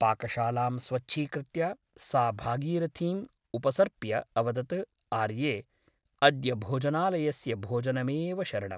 पाकशालां स्वच्छीकृत्य सा भागीरथीम् उपसर्प्य अवदत् आर्ये अद्य भोजनालयस्य भोजनमेव शरणम् ।